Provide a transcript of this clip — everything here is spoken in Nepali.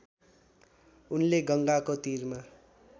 उनले गङ्गाको तिरमा